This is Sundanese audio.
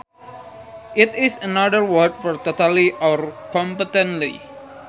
It is another word for totally or completely